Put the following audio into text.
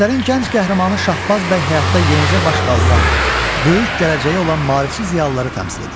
Əsərin gənc qəhrəmanı Şahbaz bəy həyatda yenicə baş qaldıran, böyük gələcəyi olan maarifçi ziyalıları təmsil edir.